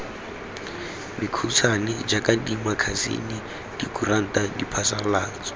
mekhutshwane jaaka dimakasine dikuranta diphasalatso